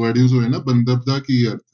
word ਜੋ ਹੈ ਨਾ ਬੰਧਪ ਦਾ ਕੀ ਅਰਥ।